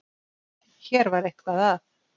Hér var eitthvað að.